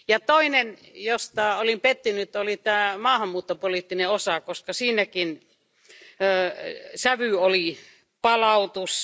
Toinen asia johon olin pettynyt, oli tämä maahanmuuttopoliittinen osa, koska siinäkin sävynä oli palautus.